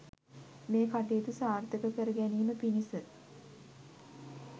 මේ කටයුතු සාර්ථක කර ගැනීම පිණිස